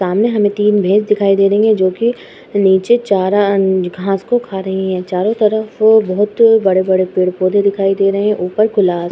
सामने हमें तीन भैस दिखाई दे रही हैं जोकि नीचे चारा घास को खा रही हैं। चारों तरफ बहोत ही बड़े बड़े पेड़ पौदे दिखाई दे रहे हैं। ऊपर कुल्हार --